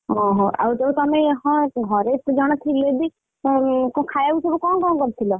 ଓହୋ ଆଉ ଯୋଉ ତମେ ହଁ ଘରେ ଏତେ ଜଣ ଥିଲେ ବି ଉଁ ଖାଇଆକୁସବୁ କଣ କଣ କରିଥିଲ?